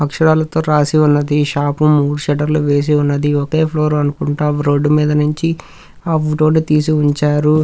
అక్షరాలతో రాసి ఉన్నది ఈ షాప్ మూడు షట్టర్ లు వేసి ఉన్నది ఒకే ఫ్లోర్ అనుకుంటా రోడ్ మీద నుంచి ఆ వ్వ్ రోడ్ తీసి ఉంచారు.